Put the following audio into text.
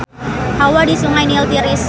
Hawa di Sungai Nil tiris